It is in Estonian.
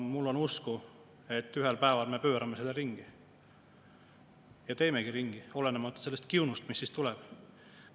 Mul on usku, et ühel päeval me pöörame selle ringi ja teemegi ringi, olenemata sellest kiunust, mis siis tuleb.